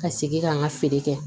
Ka segin ka n ka feere kɛ